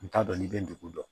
N t'a dɔn n'i bɛ dugu dɔn